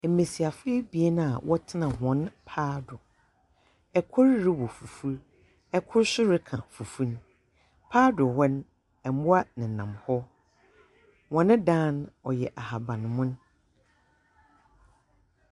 Mmesiafo ebien a wɔtsena hɔn paa do. Kor rowɔ fufuw, kor nso reka fufu no. paa do hɔ no, mmoa nenam hɔ. Wɔn dan ɔyɛ ahaban mono.